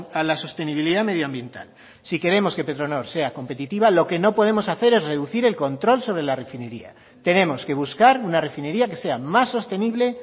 a la sostenibilidad medioambiental si queremos que petronor sea competitiva lo que no podemos hacer es reducir el control sobre la refinería tenemos que buscar una refinería que sea más sostenible